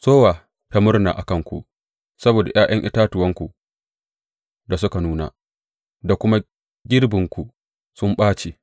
Sowa ta murna a kanku saboda ’ya’yan itatuwanku da suka nuna da kuma girbinku sun ɓace.